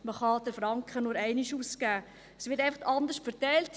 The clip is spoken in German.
man kann den Franken nur einmal ausgeben, es wird einfach anders verteilt.